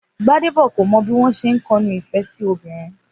Gbadé kò mo̩ bí wó̩n s̩e ń ko̩nu ìfé̩ sí obìnrin